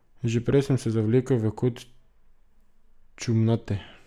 Že prej sem se zavlekel v kot čumnate.